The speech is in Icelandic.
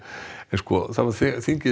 þingið